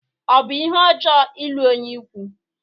Ọ bụ ihe ọjọọ ịlụ onye ikwu?